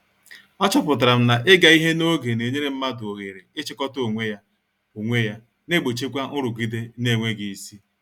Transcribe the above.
A chọpụtara m na- ịga ihe n'oge na-enyere mmadụ oghere ị chịkọta onwe ya, onwe ya, na egbochikwa nrụgide n'enweghị isi.